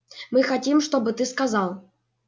мы хотим чтобы ты сказал